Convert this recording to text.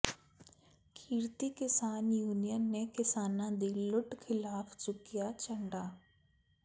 ਕਿਰਤੀ ਕਿਸਾਨ ਯੂਨੀਅਨ ਨੇ ਕਿਸਾਨਾਂ ਦੀ ਲੁੱਟ ਖ਼ਿਲਾਫ਼ ਚੁੱਕਿਆ ਝੰਡਾ